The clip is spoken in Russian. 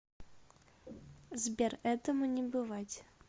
сбер этому не бывать